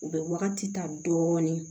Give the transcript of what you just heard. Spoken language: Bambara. U bɛ wagati ta dɔɔnin